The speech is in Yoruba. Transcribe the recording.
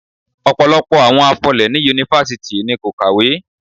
Ọ̀pọ̀lọpọ̀ àwọn afọlé ní Yunifásítì ni kò kàwé.